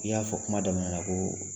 I y'a fɔ kuma daminɛ ko